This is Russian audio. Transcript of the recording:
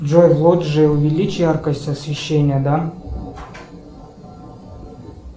джой в лоджии увеличь яркость освещения да